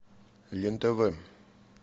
лен тв